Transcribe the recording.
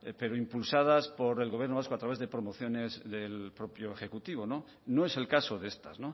pero impulsadas por el gobierno vasco a través de promociones del propio ejecutivo no es el caso de estas